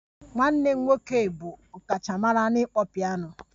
Nwanne m nwoke bụ ọkachamara n'ịkpọ peano